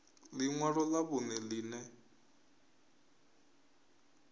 ḽi ṅwalo ḽa vhuṋe ḽine